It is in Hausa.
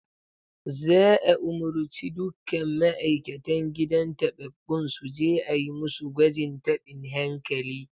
Za'a umurci dukkan ma'aikatan gidan tababbun su je a yi musu gwajin tabin hankali